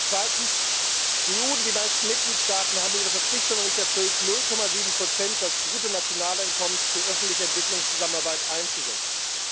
Zweitens Die EU und die meisten Mitgliedstaaten haben ihre Verpflichtungen nicht erfüllt, 0,7 des Bruttonationaleinkommens für öffentliche Entwicklungszusammenarbeit einzusetzen.